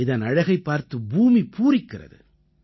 இதன் அழகைப் பார்த்து பூமி பூரிக்கிறது